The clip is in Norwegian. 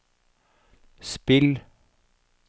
spill